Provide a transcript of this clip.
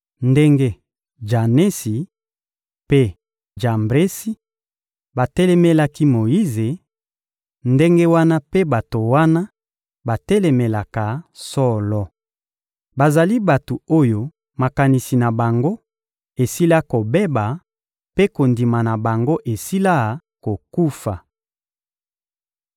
Ndenge Janesi mpe Jambresi batelemelaki Moyize, ndenge wana mpe bato wana batelemelaka solo. Bazali bato oyo makanisi na bango esila kobeba mpe kondima na bango esila kokufa.